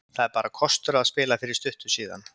Það er bara kostur að hafa spilað fyrir stuttu síðan.